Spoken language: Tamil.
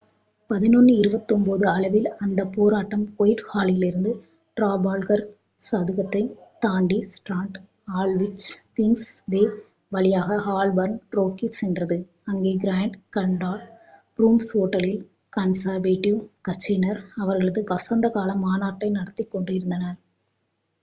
11:29 அளவில் அந்த போராட்டம் ஒயிட்ஹாலிலிருந்து ட்ரஃபால்கர் சதுக்கத்தைத் தாண்டி ஸ்ட்ரான்ட் ஆல்ட்விச் கிங்ஸ் வே வழியாக ஹால்பார்ன் நோக்கிச் சென்றது அங்கே கிராண்ட் கன்னாட் ரூம்ஸ் ஓட்டலில் கன்சர்வேட்டிவ் கட்சியினர் அவர்களது வசந்த கால மாநாட்டை நடத்திக் கொண்டிருந்தனர்